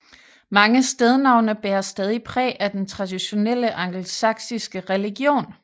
Mange stednavne bærer stadig præg af den traditionelle angelsaksiske religion